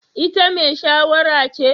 Ita mai shayarwa ce?